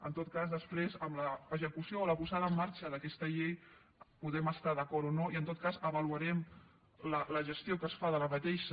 en tot cas després amb l’execució o la posada en marxa d’aquesta llei podem estar d’acord o no i en tot cas avaluarem la gestió que se’n fa